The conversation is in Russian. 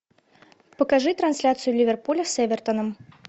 покажи трансляцию ливерпуля с эвертоном